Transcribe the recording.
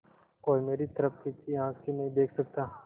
कोई मेरी तरफ तिरछी आँख से नहीं देख सकता